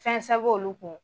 Fɛnsɛ b'olu kun